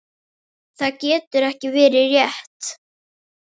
Það getur ekki verið rétt.